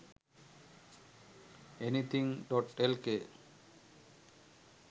anything.lk